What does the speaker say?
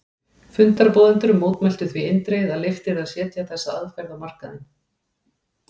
Fundarboðendur mótmæltu því eindregið að leyft yrði að setja þessa aðferð á markaðinn.